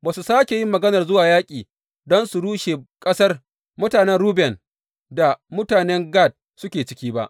Ba su sāke yin maganar zuwa yaƙi don su rushe ƙasar da mutanen Ruben da mutanen Gad suke ciki ba.